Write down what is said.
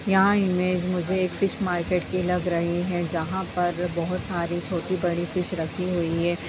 यहाँ इमेज मुझे एक फिश मार्केट की लग रही है यहाँ पर बहोत सारी छोटी बडी फिश रखी हुई है।-